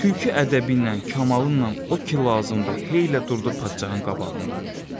Tülkü ədəbiylə, kamalınnan o ki lazımdı hey elə durdu padşahın qabağında.